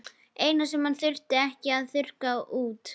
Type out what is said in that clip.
Eina sem hann þarf ekki að þurrka út.